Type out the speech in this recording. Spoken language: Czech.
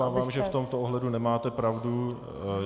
Já se obávám, že v tomto ohledu nemáte pravdu.